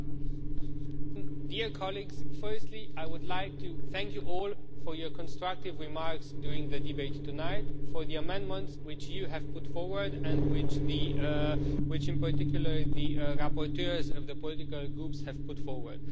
Madam President, dear colleagues, firstly I would like to thank you all for your constructive remarks during the debate tonight, for the amendments which you have put forward and which in particular the rapporteurs of the political groups have put forward.